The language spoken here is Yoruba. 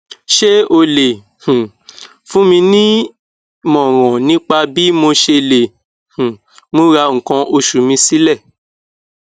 ṣé o lè um fún mi nímọràn nípa bí mo ṣe lè um múra nkan oṣù mi sílẹ